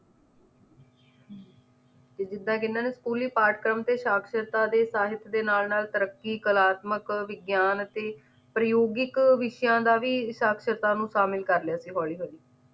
ਜਿਦਾਂ ਕੇ ਇਹਨਾਂ ਨੇ ਸਕੂਲੀ ਪਾਠਕ੍ਰਮ ਤੇ ਸਾਕਸ਼ਤਾ ਤੇ ਸਾਹਿਤ ਦੇ ਨਾਲ ਨਾਲ ਤਰੱਕੀ, ਕਲਾਤਕਮ, ਵਿਗਿਆਨ ਅਤੇ ਪ੍ਰਯੋਗਿਕ ਵਿਸ਼ਿਆਂ ਦਾ ਵੀ ਸਾਕਸ਼ਤਾ ਨੂੰ ਸ਼ਾਮਿਲ ਕਰ ਲਿਆ ਸੀ ਹੋਲੀ ਹੋਲੀ